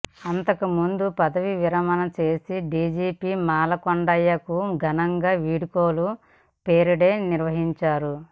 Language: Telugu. అంతకుముందు పదవీవిరమణ చేసిన డీజీపీ మాలకొండయ్యకు ఘనంగా వీడ్కోలు పరేడ్ నిర్వహించారు